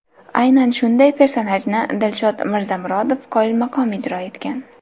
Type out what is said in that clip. Aynan shunday personajni Dilshod Mirzamurodov qoyilmaqom ijro etgan.